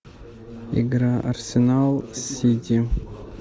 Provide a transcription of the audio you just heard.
игра арсенал с сити